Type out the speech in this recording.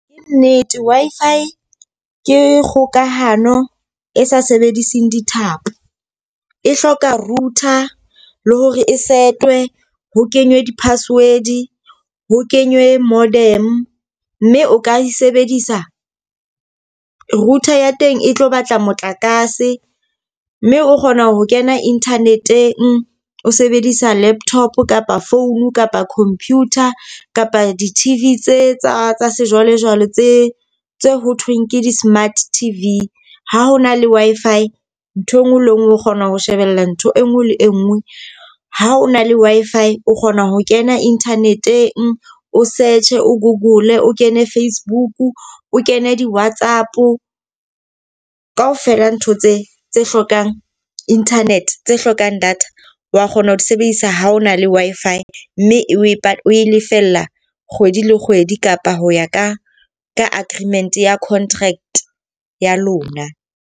Ke nnete, Wi-Fi ke kgokahano e sa sebedising dithapo. E hloka router, le hore e setwe, ho kenywe di-password, ho kenywe modem. Mme o ka e sebedisa router ya teng e tlo batla motlakase. Mme o kgona ho kena internet-eng o sebedisa laptop kapa phone kapa computer kapa di-T_V tse tsa tsa sejwalejwale tse tse ho thweng ke di-smart T_V. Ha ho na le Wi-Fi nthwe nngwe le e nngwe o kgona ho shebella ntho e nngwe le e nngwe. Ha o na le Wi-Fi o kgona ho kena internet-eng o search, o google, o kene Facebook, o kene di-WhatsApp ka ofela ntho tse tse hlokang internet, tse hlokang data. Wa kgona ho di sebedisa ha o na le Wi-Fi mme e o e lefella kgwedi le kgwedi kapa ho ya ka ka aggreement ya contract ya lona.